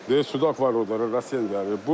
Deyir sudak var odan Rasiya ilə gəlir.